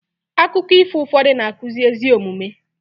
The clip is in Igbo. akụkọ ifo ụfọdụ na-akụzi ezi omume